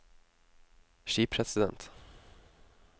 skipresident